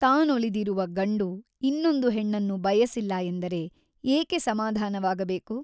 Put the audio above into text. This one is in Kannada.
ತಾನೊಲಿದಿರುವ ಗಂಡು ಇನ್ನೊಂದು ಹೆಣ್ಣನ್ನು ಬಯಸಿಲ್ಲ ಎಂದರೆ ಏಕೆ ಸಮಾಧಾನವಾಗಬೇಕು?